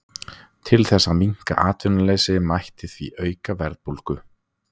Til þess að minnka atvinnuleysi mætti því auka verðbólgu.